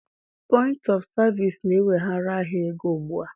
Point of Service na-eweghara ahịa ego ugbu a